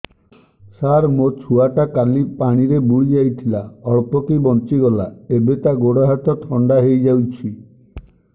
ସାର ମୋ ଛୁଆ ଟା କାଲି ପାଣି ରେ ବୁଡି ଯାଇଥିଲା ଅଳ୍ପ କି ବଞ୍ଚି ଗଲା ଏବେ ତା ଗୋଡ଼ ହାତ ଥଣ୍ଡା ହେଇଯାଉଛି